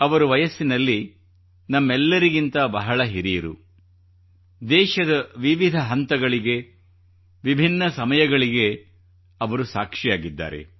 ಅವರು ವಯಸ್ಸಿನಲ್ಲಿ ನಮ್ಮೆಲ್ಲರಗಿಂತ ಬಹಳ ಹಿರಿಯರು ದೇಶದ ವಿವಿಧ ಹಂತಗಳಿಗೆ ವಿಭಿನ್ನ ಸಮಯಗಳಿಗೆ ಅವರು ಸಾಕ್ಷಿಯಾಗಿದ್ದಾರೆ